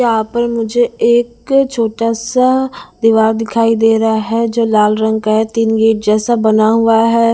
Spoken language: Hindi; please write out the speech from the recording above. यहाँ पर मुझे एक छोटा सा आ दीवार दिखाई दे रहा है जो लाल रंग का है तीन गेट जैसा बना हुआ है।